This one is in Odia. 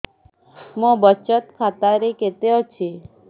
ମୋ ବଚତ ଖାତା ରେ କେତେ ଅଛି